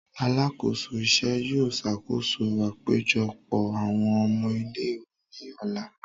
Alakoso iṣẹ yóò ṣakoso apejọpọ awọn ọmọ ile-iwe ni ọla.